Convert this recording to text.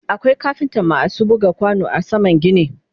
akwai kafinta maasu buga kwano a saman gini